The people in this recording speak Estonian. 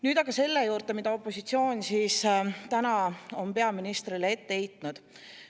Nüüd aga selle juurde, mida opositsioon täna on peaministrile ette heitnud.